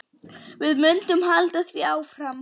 Við munum halda því áfram.